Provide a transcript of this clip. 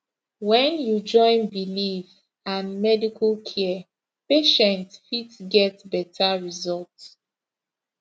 when you join belief and medical care patient fit get better result